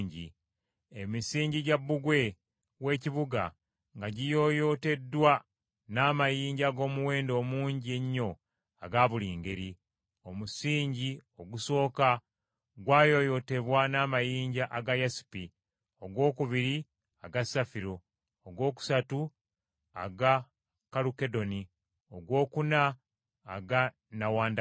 Emisingi gya bbugwe w’ekibuga nga giyooyooteddwa n’amayinja ag’omuwendo omungi ennyo aga buli ngeri. Omusingi ogusooka gwayooyootebwa n’amayinja aga yasepi, ogwokubiri aga safiro, ogwokusatu aga kalukedoni, ogwokuna aga nnawandagala,